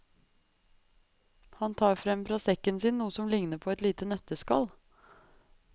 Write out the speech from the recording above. Han tar frem fra sekken sin noe som ligner på et lite nøtteskall.